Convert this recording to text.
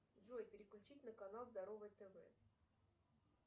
джой переключить на канал здоровое тв